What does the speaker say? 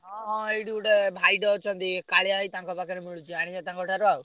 ହଁ ହଁ ଏଇଠି ଗୋଟେ ଭାଇଟେ ଅଛନ୍ତି କାଳିଆ ଭାଇ ତାଙ୍କ ପାଖରେ ମିଳୁଛି ଆଣିଆ ତାଙ୍କ ଠାରୁ ଆଉ।